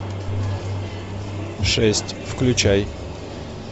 шесть включай